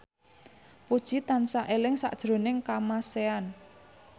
Puji tansah eling sakjroning Kamasean